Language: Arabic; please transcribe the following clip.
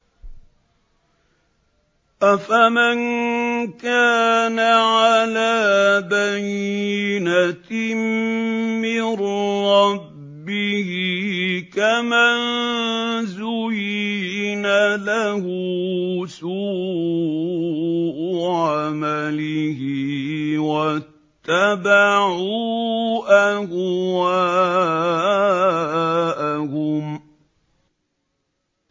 أَفَمَن كَانَ عَلَىٰ بَيِّنَةٍ مِّن رَّبِّهِ كَمَن زُيِّنَ لَهُ سُوءُ عَمَلِهِ وَاتَّبَعُوا أَهْوَاءَهُم